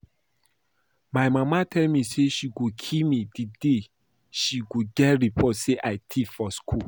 My mama tell me say she go kill me the day she go get report say I thief for school